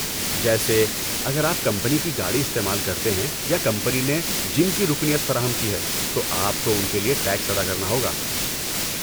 جیسے، اگر آپ کمپنی کی گاڑی استعمال کرتے ہیں یا کمپنی نے جم کی رکنیت فراہم کی ہے، تو آپ کو ان کے لیے ٹیکس ادا کرنا ہوگا۔